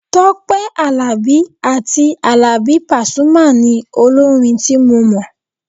Tọ́pẹ́ Àlàbí àti Àlàbí pasuma ni olórin tí mo mọ̀.